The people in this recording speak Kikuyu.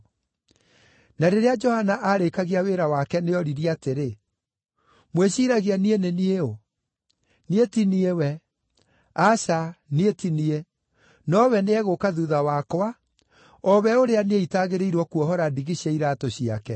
Na rĩrĩa Johana aarĩkagia wĩra wake nĩoririe atĩrĩ: ‘Mwĩciiragia niĩ nĩ niĩ ũũ? Niĩ ti niĩ we. Aca niĩ ti niĩ, nowe nĩegũũka thuutha wakwa, o we ũrĩa niĩ itagĩrĩirwo kuohora ndigi cia iraatũ ciake.’